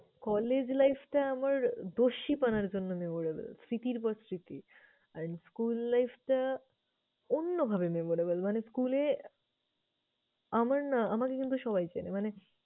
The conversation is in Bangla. College life টা আমার দস্যিপনার জন্য memorable, স্মৃতির পর স্মৃতি। আর school life টা অন্যভাবে memorable, মানে school এ আমার না, আমাকে কিন্তু সবাই চেনে। মানে